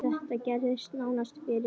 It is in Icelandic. Þetta gerðist nánast fyrir slysni.